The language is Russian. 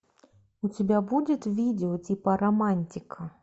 у тебя будет видео типа романтика